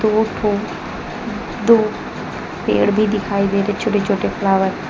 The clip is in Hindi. दो ठो दो पेड़ भी दिखाई दे रहे हैं छोटे छोटे फ्लावर --